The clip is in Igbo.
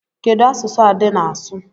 Kedu asụsụ Ade na-asụ?